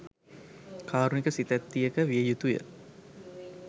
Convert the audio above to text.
කාරුණික සිතැත්තියක විය යුතුය.